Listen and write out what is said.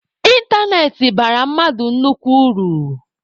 Ịntanetị bara mmadụ nnukwu uru.